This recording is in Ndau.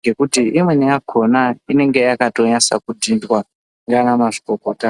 ngekuti imweni yakona inenge yakanyaso kudhindwa nana mazvikokota.